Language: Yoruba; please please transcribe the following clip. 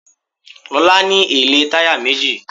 Lọ́la ní èlé táyà méjì.